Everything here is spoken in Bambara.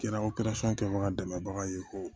Kɛra kɛbaga dɛmɛbaga ye ko